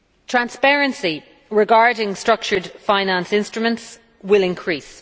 Transparency regarding structured finance instruments will increase.